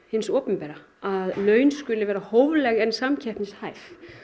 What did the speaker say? hins opinbera að laun skuli vera hófleg en samkeppnishæf